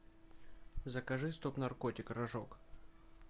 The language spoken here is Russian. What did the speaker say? закажи стоп наркотик рожок